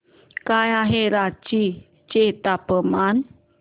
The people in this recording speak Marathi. काय आहे रांची चे तापमान